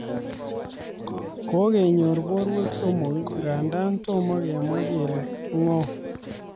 kokenyoor borwek somok nganda tomo kemwa kele ng'o